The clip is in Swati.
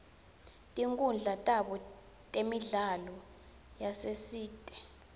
tinkhundla tabo temidlalo yasesitej